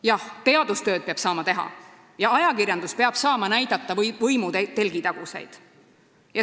Jah, teadustööd peab saama teha ja ajakirjandus peab saama võimu telgitaguseid näidata.